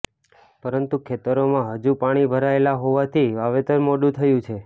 પરંતુ ખેતરોમાં હજુ પાણી ભરાયેલા હોવાથી વાવેતર મોડુ થયું છે